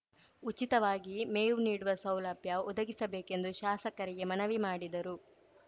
ಉಚಿತವಾಗಿ ಮೇವು ನೀಡುವ ಸೌಲಭ್ಯ ಒದಗಿಸಬೇಕೆಂದು ಶಾಸಕರಿಗೆ ಮನವಿ ಮಾಡಿದರು